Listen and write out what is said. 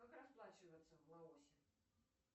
как расплачиваться в лаосе